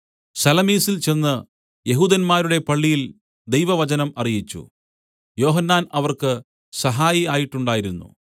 സലമീസിൽ ചെന്ന് യെഹൂദന്മാരുടെ പള്ളിയിൽ ദൈവവചനം അറിയിച്ചു യോഹന്നാൻ അവർക്ക് സഹായി ആയിട്ടുണ്ടായിരുന്നു